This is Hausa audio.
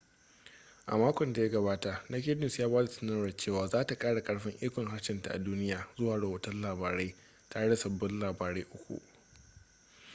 a makon da ya gabata naked news ya ba da sanarwar cewa za ta kara karfin ikon harshenta a duniya zuwa rahoton labarai tare da sabbin labarai uku